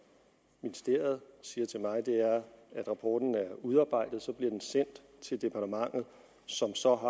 ministeriet siger til mig er at rapporten er udarbejdet og så bliver den sendt til departementet som så